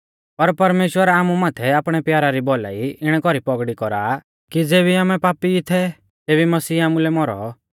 पर परमेश्‍वर आमु माथै आपणै प्यारा री भौलाई इणै कौरी पौगड़ी कौरा आ कि ज़ेबी आमै पापी ई थै तेबी मसीह आमुलै मौरौ